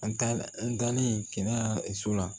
An taa an dalen an su la